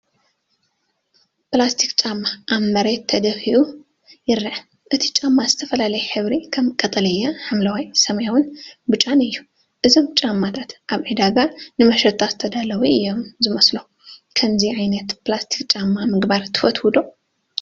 ፕላስቲክ ጫማ ኣብ መሬት ተደፊኡ ይረአ። እቲ ጫማ ዝተፈላለየ ሕብሪ ከም ቀጠልያ፡ ሐምላይ፡ ሰማያውን ብጫን እዩ። እዞም ጫማታት ኣብ ዕዳጋ ንመሸጣ ዝተዳለዉ እዮም ዝመስሉ። ከምዚ ዓይነት ፕላስቲክ ጫማ ምግባር ትፈትው ዶ?